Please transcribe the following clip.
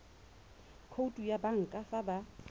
khoutu ya banka fa ba